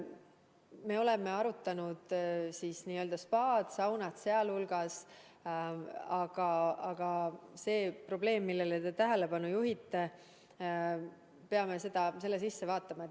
Me oleme arutanud spaasid, saunad sealhulgas, aga see probleem, millele te tähelepanu juhite – me peame selle sisse vaatama.